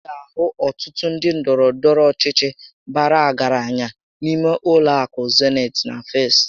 Ị ga ahụ ọtụtụ ndị ndọrọ ndọrọ ọchịchị bàrà ọgaranya n'ime ụlọ akụ Zenit na Festị